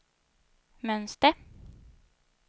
mönster